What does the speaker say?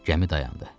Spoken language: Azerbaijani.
Gəmi dayandı.